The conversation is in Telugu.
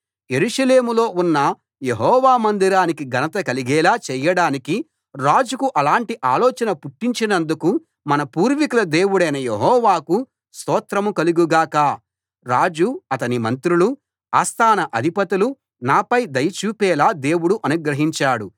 యెరూషలేములో ఉన్న యెహోవా మందిరానికి ఘనత కలిగేలా చేయడానికి రాజుకు అలాంటి ఆలోచన పుట్టించినందుకు మన పూర్వీకుల దేవుడైన యెహోవాకు స్తోత్రం కలుగు గాక రాజు అతని మంత్రులు ఆస్థాన అధిపతులు నాపై దయ చూపేలా దేవుడు అనుగ్రహించాడు